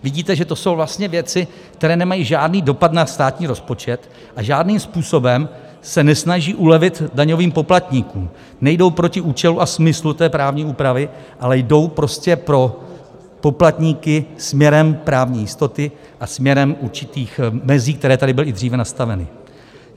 Vidíte, že to jsou vlastně věci, které nemají žádný dopad na státní rozpočet a žádným způsobem se nesnaží ulevit daňovým poplatníkům, nejdou proti účelu a smyslu té právní úpravy, ale jdou prostě pro poplatníky směrem právní jistoty a směrem určitých mezí, které tady byly i dříve nastaveny.